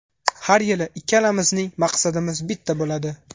Har yili ikkalamizning maqsadimiz bitta bo‘ladi.